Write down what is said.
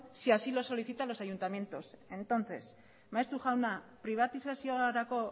si así lo solicitan los ayuntamientos entonces maeztu jauna pribatizaziorako